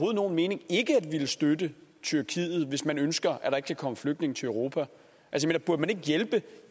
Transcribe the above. nogen mening ikke at ville støtte tyrkiet hvis man ønsker at kan komme flygtninge til europa burde man ikke hjælpe